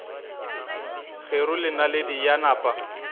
kgeru le naledi ya napa